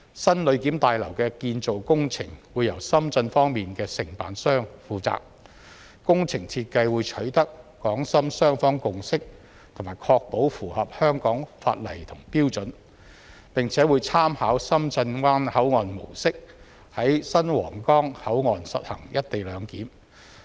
新旅檢大樓的建造工程會由深圳方面的承辦商負責，工程設計會取得港深雙方共識及確保符合香港法例和標準，並且會參考深圳灣口岸模式，在新皇崗口岸實行"一地兩檢"。